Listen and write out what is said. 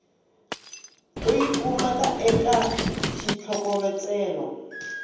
u yi kumaka eka xitlhokovetselo